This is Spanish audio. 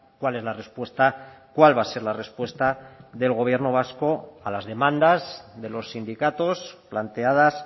cuál es la respuesta cuál va a ser la respuesta del gobierno vasco a las demandas de los sindicatos planteadas